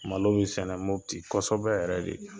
Malo bɛ sɛnɛ Mopti kosɛbɛ yɛrɛ de